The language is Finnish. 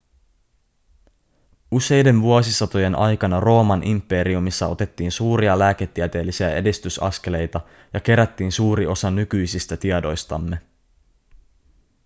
useiden vuosisatojen aikana rooman imperiumissa otettiin suuria lääketieteellisiä edistysaskeleita ja kerättiin suuri osa nykyisistä tiedoistamme